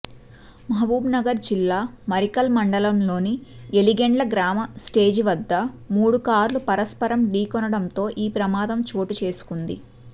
మహబూబ్నగర్ జిల్లా మరికల్ మండలంలోని ఎలిగెండ్ల గ్రామ స్టేజి వద్ద మూడు కార్లు పరస్పరం ఢీకొనడంతో ఈ ప్రమాదం చోటుచేసుకుంది